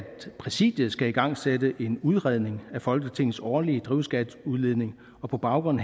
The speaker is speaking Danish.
præsidiet skal igangsætte en udredning af folketingets årlige drivhusgasudledning og på baggrund